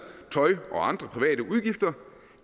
tøj og andre private udgifter